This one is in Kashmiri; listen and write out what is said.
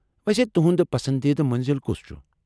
ویسے تُہُند پسندیدٕ منزِل کُس چُھ؟